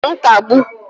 nkagbu